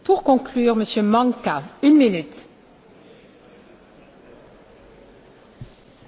Ak máme naštartovať zamestnanosť, potrebujeme investovať do projektov s vysokou pridanou hodnotou.